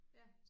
Ja